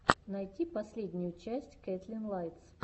найти последнюю часть кэтлин лайтс